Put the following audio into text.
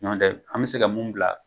Ɲɔn tɛ an be se ka mun bila